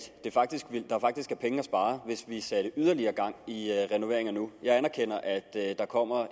der faktisk er penge at spare hvis vi sætter yderligere gang i renoveringen nu jeg anerkender at der kommer